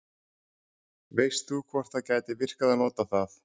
veist þú hvort það gæti virkað að nota það